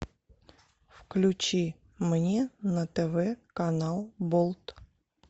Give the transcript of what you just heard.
включи мне на тв канал болт